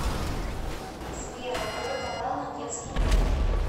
сбер открой каналы детский мир